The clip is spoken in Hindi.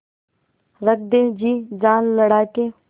रख दे जी जान लड़ा के